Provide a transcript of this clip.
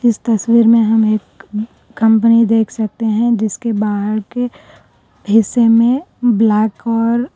تصویر میں ہم ایک کمپنی دیکھ سکتے ہیں جس کے باہر کے حصے میں بلیک اور.